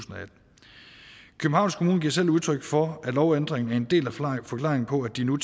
og atten kommune giver selv udtryk for at lovændringen er en del af forklaringen på at de nu